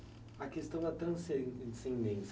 Até a questão da transcendência.